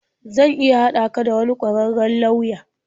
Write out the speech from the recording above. Zan iya haɗa ka da wani ƙwararren lauya.